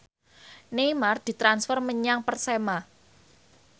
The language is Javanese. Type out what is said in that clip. Neymar ditransfer menyang Persema